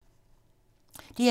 DR2